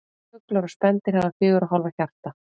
Fuglar og spendýr hafa fjögurra hólfa hjarta.